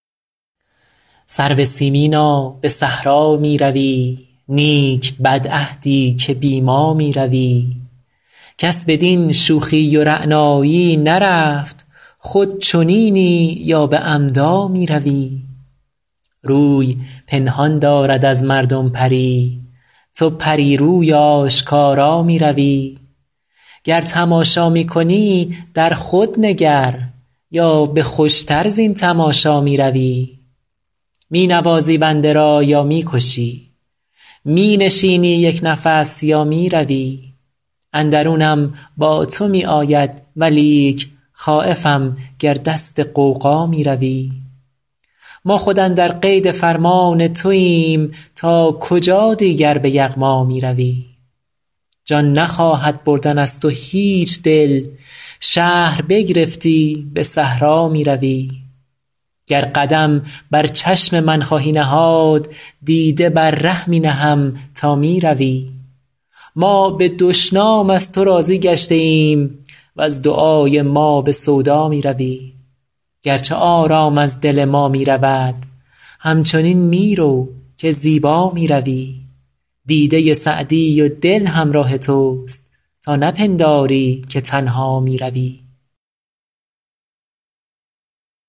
سرو سیمینا به صحرا می روی نیک بدعهدی که بی ما می روی کس بدین شوخی و رعنایی نرفت خود چنینی یا به عمدا می روی روی پنهان دارد از مردم پری تو پری روی آشکارا می روی گر تماشا می کنی در خود نگر یا به خوش تر زین تماشا می روی می نوازی بنده را یا می کشی می نشینی یک نفس یا می روی اندرونم با تو می آید ولیک خایفم گر دست غوغا می روی ما خود اندر قید فرمان توایم تا کجا دیگر به یغما می روی جان نخواهد بردن از تو هیچ دل شهر بگرفتی به صحرا می روی گر قدم بر چشم من خواهی نهاد دیده بر ره می نهم تا می روی ما به دشنام از تو راضی گشته ایم وز دعای ما به سودا می روی گرچه آرام از دل ما می رود همچنین می رو که زیبا می روی دیده سعدی و دل همراه توست تا نپنداری که تنها می روی